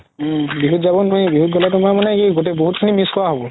উম বিহুত যাব নোৱাৰি বিহু গ'লে তুমাৰ মানে কি গুতেই বহুত খিনি miss কৰা হ'ব